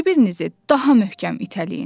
Bir-birinizi daha möhkəm itələyin!